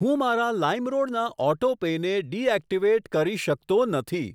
હું મારા લાઇમરોડ ના ઓટો પેને ડી એક્ટીવેટ કરી શકતો નથી.